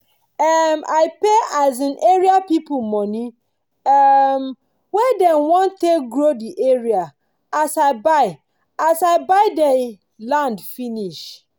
um i pay um area people money um wey dem wan take grow the area as i buy as i buy dey land finish